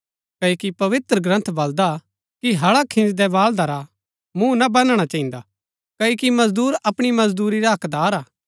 क्ओकि पवित्रग्रन्थ बल्‍दा कि हळा खिन्‍जदै बाल्दा रा मूँह ना बन्‍धना चहिन्दा क्ओकि मजदूर अपणी मजदूरी रा हक्कदार हा